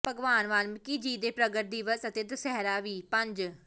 ਭਗਵਾਨ ਵਾਲਮੀਕਿ ਜੀ ਦੇ ਪ੍ਰਗਟ ਦਿਵਸ ਅਤੇ ਦੁਸਹਿਰਾ ਵੀ ਪੰਜ